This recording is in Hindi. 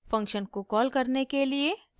फंक्शन को कॉल करने के लिए टाइप करें: